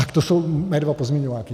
Tak to jsou mé dva pozměňováky.